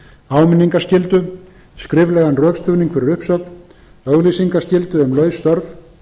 áminningarskyldu skriflegan rökstuðning fyrir uppsögn auglýsingaskyldu um laus störf